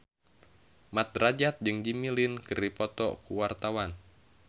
Mat Drajat jeung Jimmy Lin keur dipoto ku wartawan